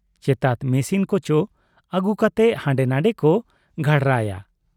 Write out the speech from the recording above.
ᱪᱨᱛᱟᱛ machine ᱠᱚ ᱪᱚ ᱟᱹᱜᱩ ᱠᱟᱛᱮ ᱦᱟᱸᱰᱨ ᱱᱷᱟᱸᱰᱮ ᱠᱚ ᱜᱷᱟᱨᱲᱟᱭᱟ ᱾